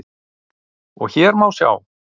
og hér má sjá